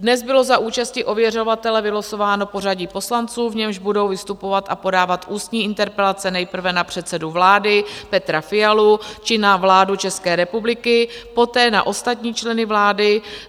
Dnes bylo za účasti ověřovatele vylosováno pořadí poslanců, v němž budou vystupovat a podávat ústní interpelace nejprve na předsedu vlády Petra Fialu či na vládu České republiky, poté na ostatní členy vlády.